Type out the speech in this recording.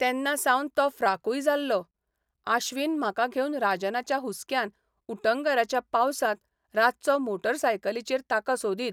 तेन्नासावन तो फ्राकूय जाल्लो आश्वीन म्हाका घेवन राजनाच्या हुस्क्यान उटंगाराच्या पावसांत रातचो मोटारसायकलीचेर ताका सोदीत.